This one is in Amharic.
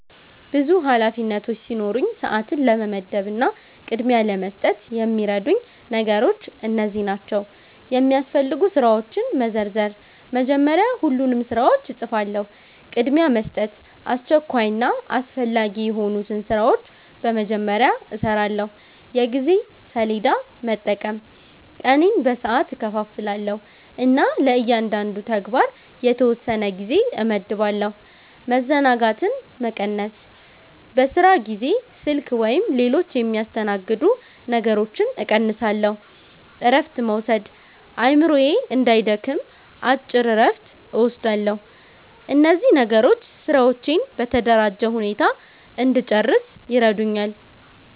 ብዙ ኃላፊነቶች ሲኖሩኝ፣ ሰዓትን ለመመደብ እና ቅድሚያ ለመስጠት የሚረዱኝ ነገሮች እነዚህ ናቸው፦ የሚያስፈልጉ ስራዎችን መዘርዘር – መጀመሪያ ሁሉንም ስራዎች እጽፋለሁ። ቅድሚያ መስጠት – አስቸኳይና አስፈላጊ የሆኑትን ስራዎች በመጀመሪያ እሰራለሁ። የጊዜ ሰሌዳ መጠቀም – ቀኔን በሰዓት እከፋፍላለሁ እና ለእያንዳንዱ ተግባር የተወሰነ ጊዜ እመድባለሁ። መዘናጋትን መቀነስ – በስራ ጊዜ ስልክ ወይም ሌሎች የሚያስተናግዱ ነገሮችን እቀንሳለሁ። እረፍት መውሰድ – አእምሮዬ እንዳይደክም አጭር እረፍት እወስዳለሁ። እነዚህ ነገሮች ስራዎቼን በተደራጀ ሁኔታ እንድጨርስ ይረዱኛል።